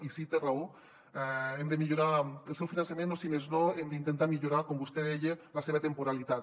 i sí té raó hem de millorar el seu finançament o si més no hem d’intentar millorar com vostè deia la seva temporalitat